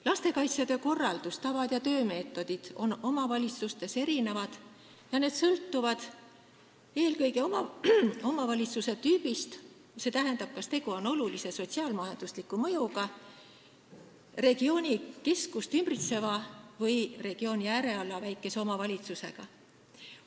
Lastekaitsetöö korraldus, tavad ja töömeetodid on omavalitsustes erinevad ja need sõltuvad eelkõige omavalitsuse tüübist, st sellest, kas tegu on olulise sotsiaal-majandusliku mõjuga ja regioonikeskust ümbritseva või regiooni äärealal asuva väikese omavalitsusega.